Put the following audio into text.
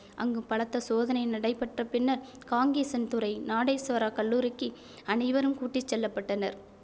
அங்கு பலத்த சோதனை நடைபெற்ற பின்னர் காங்கேசன்துறை நாடேஸ்வராக் கல்லூரிக்கு அனைவரும் கூட்டி செல்ல பட்டனர்